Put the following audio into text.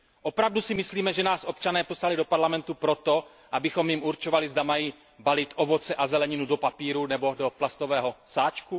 Opravdu si myslíme, že nás občané poslali do Parlamentu proto, abychom jim určovali, zda mají balit ovoce a zeleninu do papíru nebo do plastového sáčku.